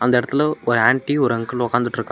இந்த எடத்துல ஒரு ஆண்டி ஒரு அங்கிள் உக்காந்துட்ருகாங்க.